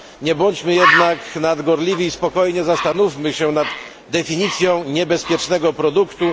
Nie bądźmy jednak nadgorliwi i spokojnie zastanówmy się nad definicją niebezpiecznego produktu.